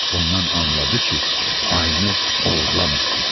Bundan anladı ki, ayını oğurlamayıblar.